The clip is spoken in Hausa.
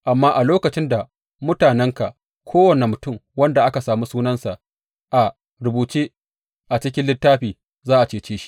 Amma a lokacin da mutanenka, kowane mutum wanda aka sami sunansa a rubuce a cikin littafin, za a cece shi.